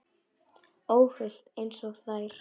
Óhult einsog þær.